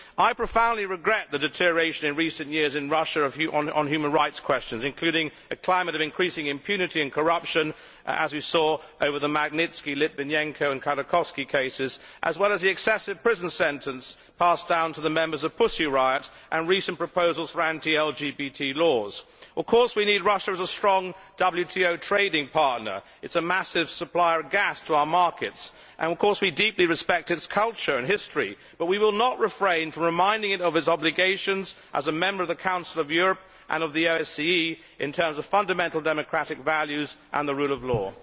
I profoundly regret the deterioration in recent years in Russia on human rights questions, including a climate of increasing impunity and corruption, as we saw over the Magnitsky, Litvinyenko and Khodorkovsky cases, as well as the excessive prison sentence passed down to the members of Pussy Riot and recent proposals for anti LGBT laws. Of course we need Russia as a strong WTO trading partner it is a massive supplier of gas to our markets and of course we deeply respect its culture and history, but we will not refrain from reminding it of its obligations as a Member of the Council of Europe and of the OSCE in terms of fundamental democratic values and the rule of law.